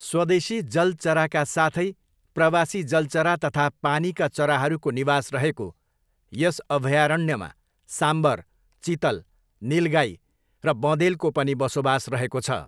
स्वदेशी जल चराका साथै प्रवासी जल चरा तथा पानीका चराहरूको निवास रहेको यस अभयारण्यमा साम्बर, चितल, निलगाई र बँदेलको पनि बसोबास रहेको छ।